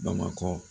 Bamakɔ